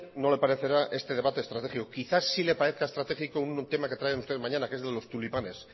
no le parecerá este debate estratégico quizás sí le parezca estratégico un tema que traen ustedes mañana que es de los tulipanes